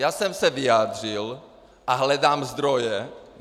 Já jsem se vyjádřil a hledám zdroje.